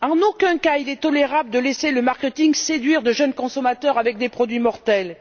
En aucun cas, il n'est tolérable de laisser le marketing séduire de jeunes consommateurs avec des produits mortels.